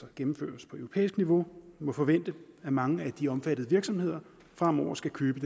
gennemføres på europæisk niveau må forvente at mange af de omfattede virksomheder fremover skal købe